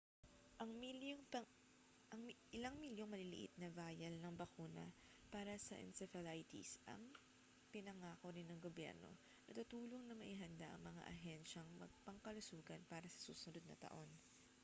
ilang milyong maliliit na vial ng bakuna para sa encephalitis ang pinangako rin ng gobyerno na tutulong na maihanda ang mga ahensyang pangkalusugan para sa susunod na taon